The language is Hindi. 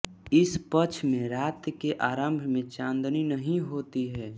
इस पक्ष में रात के आरम्भ मे चाँदनी नहीं होती है